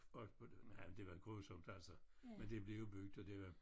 Og det jamen det var grusomt altså men det blev jo bygget og det var